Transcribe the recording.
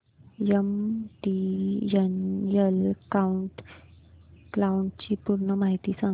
MTNL cloud ची पूर्ण माहिती सांग